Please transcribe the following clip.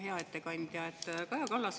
Hea ettekandja!